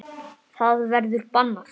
Það verður bannað.